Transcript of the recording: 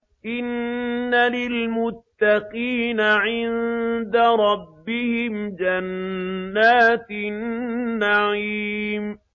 إِنَّ لِلْمُتَّقِينَ عِندَ رَبِّهِمْ جَنَّاتِ النَّعِيمِ